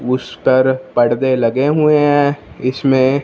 उस पर पर्दे लगे हुए हैं इसमें--